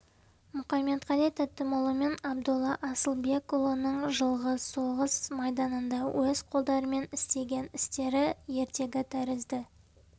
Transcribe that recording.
мұқаметқали тәтімұлы мен абдолла асылбекұлының жылғы соғыс майданында өз қолдарымен істеген істері ертегі тәрізді